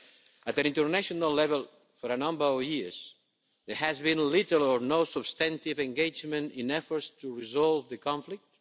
At an international level for a number of years there has been little or no substantive engagement in efforts to resolve the conflict.